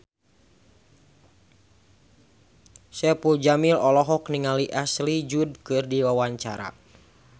Saipul Jamil olohok ningali Ashley Judd keur diwawancara